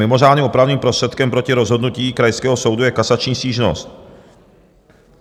Mimořádným opravným prostředkem proti rozhodnutí krajského soudu je kasační stížnost.